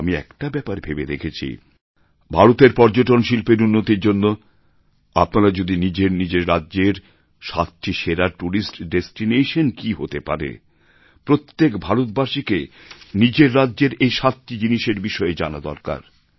আমি একটা ব্যাপার ভেবে দেখেছি ভারতের পর্যটন শিল্পের উন্নতির জন্য আপনারা যদি নিজের নিজের রাজ্যের সাতটি সেরা ট্যুরিস্ট ডেস্টিনেশন কী হতে পারে প্রত্যেক ভারতবাসীকে নিজের রাজ্যের এই সাতটি জিনিসের বিষয়ে জানা দরকার